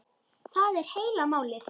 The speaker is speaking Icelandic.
Það er heila málið!